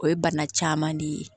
O ye bana caman de ye